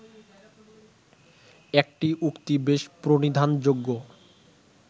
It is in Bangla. একটি উক্তি বেশ প্রণিধানযোগ্য